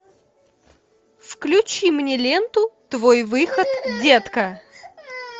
включи мне ленту твой выход детка